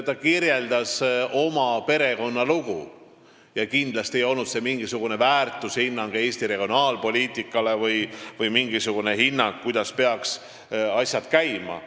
Ta kirjeldas oma perekonna lugu, kindlasti ei olnud see mingi väärtushinnang Eesti regionaalpoliitikale või mingisugune hinnang, kuidas peaks asjad käima.